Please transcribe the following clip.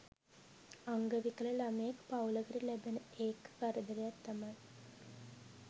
අංග විකල ළමයෙක් පවුලකට ලැබෙන ඒක කරදරයක් තමයි